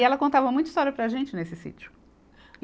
E ela contava muita história para a gente nesse sítio.